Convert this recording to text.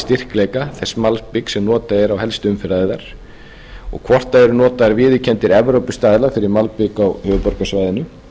styrkleika þess malbiks sem notað er á helstu umferðaræðar og hvort það eru notaðir viðurkenndir evrópustaðlar fyrir malbik á höfuðborgarsvæðinu